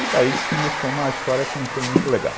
E daí que começou uma história que não foi muito legal.